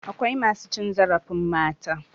Akwai masu cin zarafin mata.